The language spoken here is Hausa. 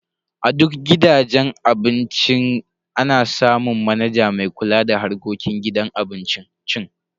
A duk gidajen cin abinci ana samu manaja mai kula da harkokin gidan cin abincin.